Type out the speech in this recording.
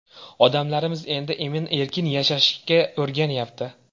Odamlarimiz endi emin-erkin yashashga o‘rganyapti.